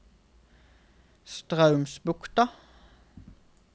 Straumsbukta